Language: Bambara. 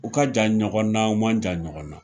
U ka jan ɲɔgɔnna, u man jan ɲɔgɔnna,